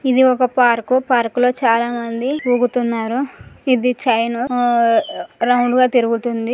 ఇది ఒక park park లో చాలా మంది ఊగుతున్నారు. ఇది చైన్ రౌండ్ గా తిరుగుతుంది.